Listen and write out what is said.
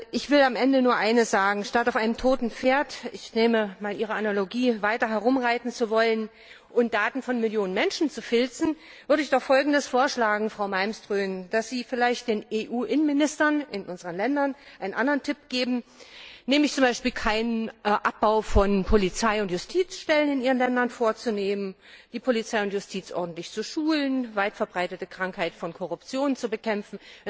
Ich will am Ende nur eines sagen Statt auf einem toten Pferd ich nehme mal Ihre Analogie weiter herumreiten zu wollen und Daten von Millionen Menschen zu filzen, würde ich doch Folgendes vorschlagen, Frau Malmström Geben Sie vielleicht den EU Innenministern in unseren Ländern einen anderen Tipp, nämlich z. B. keinen Abbau von Polizei und Justizstellen in ihren Ländern vorzunehmen, die Polizei und Justiz ordentlich zu schulen sowie die weit verbreitete Krankheit der Korruption zu bekämpfen.